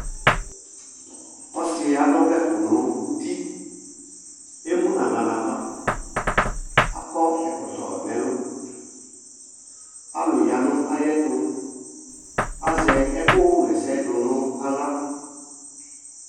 Ɔsɩ adʋ ɔvlɛkʋ n'iti, emu n'aɣla -ava , akɔ ɛkɔtɔ n'ɛlʋ Alʋ ya n'ayɛtʋ , azɛ ɛkʋɣɛsɛdʋ n'aɣla